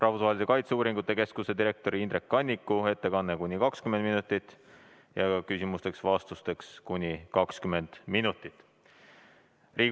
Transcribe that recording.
Rahvusvahelise Kaitseuuringute Keskuse direktori Indrek Kanniku ettekanne kestab kuni 20 minutit ja ka küsimusteks-vastusteks on aega kuni 20 minutit.